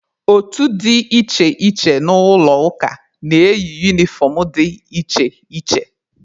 Otu dị iche iche n'ụlọ ụka na-eyi unifọm dị iche iche.